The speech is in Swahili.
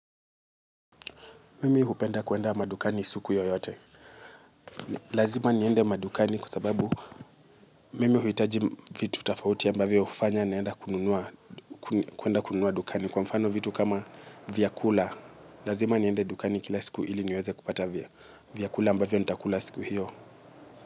Mimi hupenda kuenda madukani siku yoyote. Lazima niende madukani kwa sababu mimi huhitaji vitu tofauti ambavyo hufanya niende kununua dukani, kwa mfano vitu kama vyakula. Lazima niende dukani kila siku ili niweze kupata vyakula ambavyo nitakula siku hiyo.